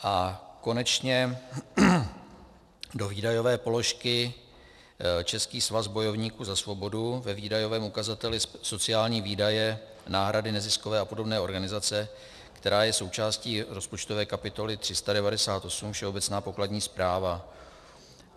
A konečně do výdajové položky Český svaz bojovníků za svobodu ve výdajovém ukazateli sociální výdaje, náhrady neziskové a podobné organizace, která je součástí rozpočtové kapitoly 398 Všeobecná pokladní správa.